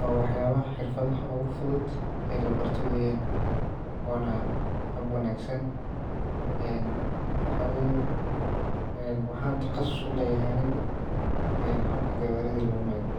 wa waxyaabaha xirfadhaha ogu fudhudh ee labarto weyyan ona habb wanagsan waxa waye waxan taqassus uleeyahay aniga habka gawaaridha lo meeyro